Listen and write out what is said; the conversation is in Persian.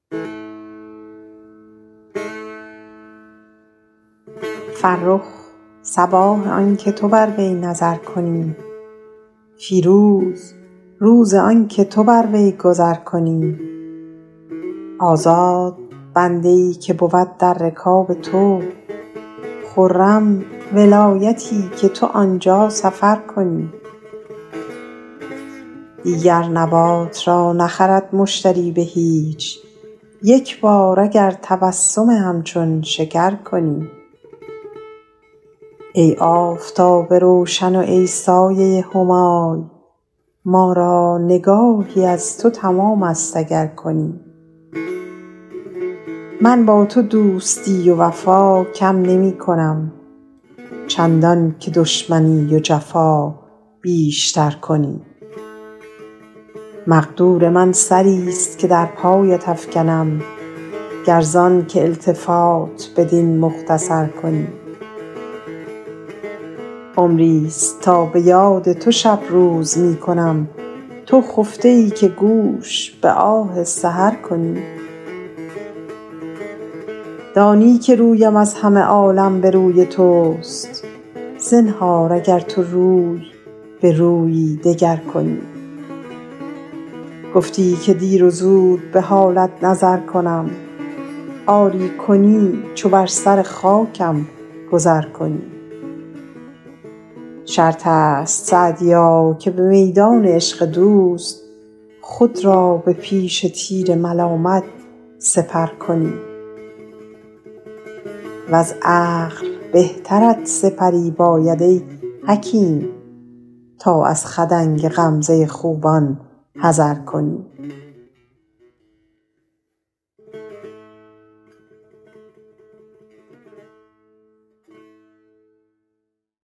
فرخ صباح آن که تو بر وی نظر کنی فیروز روز آن که تو بر وی گذر کنی آزاد بنده ای که بود در رکاب تو خرم ولایتی که تو آن جا سفر کنی دیگر نبات را نخرد مشتری به هیچ یک بار اگر تبسم همچون شکر کنی ای آفتاب روشن و ای سایه همای ما را نگاهی از تو تمام است اگر کنی من با تو دوستی و وفا کم نمی کنم چندان که دشمنی و جفا بیش تر کنی مقدور من سری ست که در پایت افکنم گر زآن که التفات بدین مختصر کنی عمری ست تا به یاد تو شب روز می کنم تو خفته ای که گوش به آه سحر کنی دانی که رویم از همه عالم به روی توست زنهار اگر تو روی به رویی دگر کنی گفتی که دیر و زود به حالت نظر کنم آری کنی چو بر سر خاکم گذر کنی شرط است سعدیا که به میدان عشق دوست خود را به پیش تیر ملامت سپر کنی وز عقل بهترت سپری باید ای حکیم تا از خدنگ غمزه خوبان حذر کنی